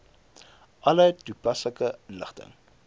alle toepaslike inligting